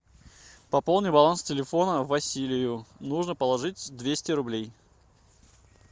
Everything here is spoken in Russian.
пополни баланс телефона василию нужно положить двести рублей